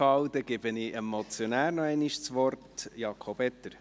Dann gebe ich dem Motionär Jakob Etter nochmals das Wort.